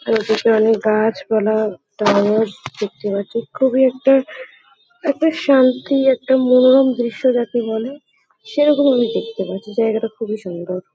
আর এদিকে অনেক গাছপালা টাওয়ার দেখতে পাচ্ছি। খুবই একটা একটা শান্তি একটা মনোরম দৃশ্য যাকে বলে সেরকম আমি দেখতে পাচ্ছি। জায়গাটা খুবই সুন্দর।